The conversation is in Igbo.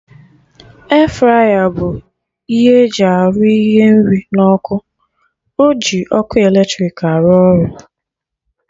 E-fraya bụ ihe arụ ihe nri na ọkụ, oji ọkụ eletrik arụ ọrụ